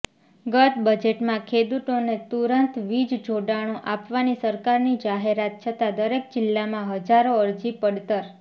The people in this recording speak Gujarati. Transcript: ગત બજેટમાં ખેડૂતોને તુરંત વીજ જોડાણો આપવાની સરકારની જાહેરાત છતાં દરેક જિલ્લામાં હજારો અરજી પડતર